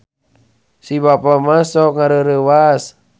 Si Bapa mah sok ngareureuwas